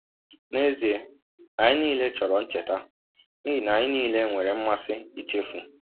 N’ezie, anyị niile chọrọ ncheta, n’ihi na anyị niile nwere mmasị ichefu.